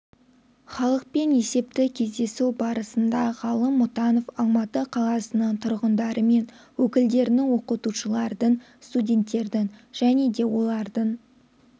халықпен есепті кездесу барысында ғалым мұтанов алматы қаласының тұрғындары мен өкілдерінің оқытушылардың студенттердің және де олардың